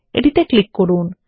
এটি তে ক্লিক করুন